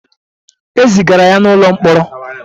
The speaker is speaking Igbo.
E zigara ya n'ụlọ mkpọrọ.